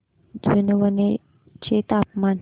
जुनवणे चे तापमान